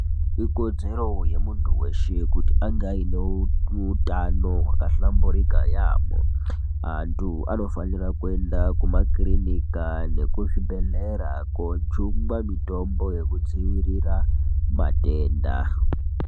Ikodzero yemuntu weshe, kuti ange ayine utano hwakahlamburika yaamho. Antu anofanira kuenda kumakirinika nekuzvibhedhlera kojungwa mitombo yekudzivirira matenda.